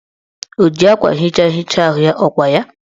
O ji akwa nhicha hichaa ahụ ya, ọkwa ya?